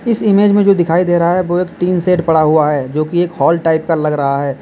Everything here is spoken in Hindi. इस इमेज में जो दिखाई दे रहा है वो एक टीन शेड पड़ा हुआ है जोकि एक हॉल टाइप का लग रहा है।